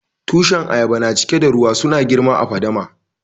Tushin ayaba na cike da ruwa. Suna girma a'fadama.